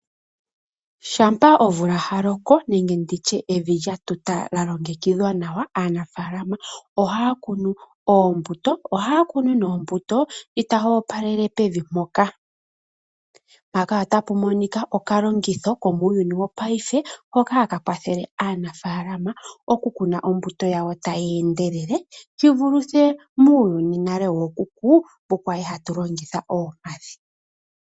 Shampa omvula ya loko nenge evi lya tuta lya longekidhwa nawa, aanafaalama ohaya kunu oombuto. Ohaya kunu nduno ombuto ndji tayi opalele pevi mpoka. Ohaya longitha okalongitho komuuyuni wopaife hoka haka kwathele aanaafalaama okukuna ombuto yawo tayi endelele shi vulithe muuyuni wookuku shi twa li hatu longitha oompadhi.